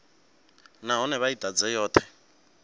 nahone vha i ḓadze yoṱhe